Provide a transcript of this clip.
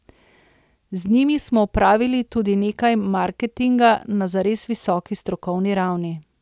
Z njimi smo opravili tudi nekaj marketinga na zares visoki strokovni ravni.